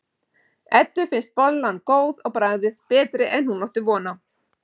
Eddu finnst bollan góð á bragðið, betri en hún átti von á.